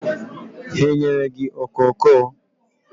Ha enyere gị okoko?